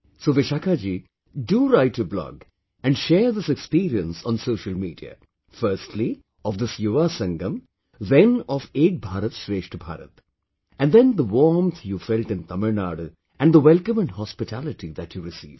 So Vishakha ji, do write a blog and share this experience on social media, firstly, of this Yuva Sangam, then of 'Ek BharatShreshth Bharat' and then the warmth you felt in Tamil Nadu, and the welcome and hospitality that you received